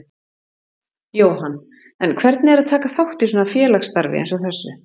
Jóhann: En hvernig er að taka þátt í svona félagsstarfi eins og þessu?